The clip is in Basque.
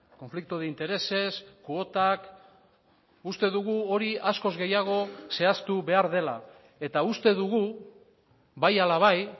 konflikto de intereses kuotak uste dugu hori askoz gehiago zehaztu behar dela eta uste dugu bai ala bai